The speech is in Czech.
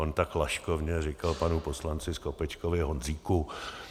On tak laškovně řekl panu poslanci Skopečkovi Honzíku.